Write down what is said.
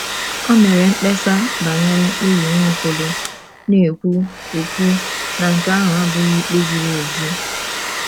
Ò mere mkpesa banyere mkpebi Nwaokolo, na - ekwu - ekwu na nke ahụ abụghị ikpe ziri ezi?